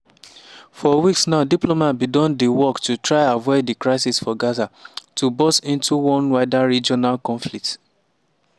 for weeks now diplomats bin don dey work to try avoid di crisis for gaza to burst into one wider regional conflict.